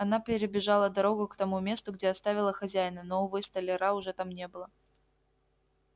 она перебежала дорогу к тому месту где оставила хозяина но увы столяра уже там не было